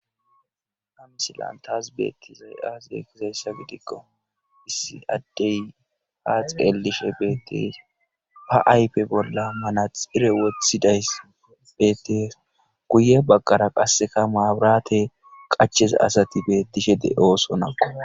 Ha misilan taas bettizay aaseekkizayssa gidikko issi addey ha xeelishe beettees ba aype bolla mana xire wothiday beettees guye bagqara qasseka maaburate qacheza asati beettishe de7oosonaqo